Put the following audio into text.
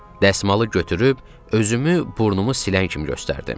Dəsmalı götürüb özümü burnumu silən kimi göstərdim.